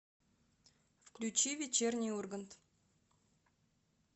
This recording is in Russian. включи вечерний ургант